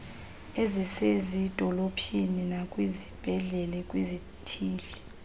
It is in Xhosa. ezisezidolophini nakwizibhedlele kwizithili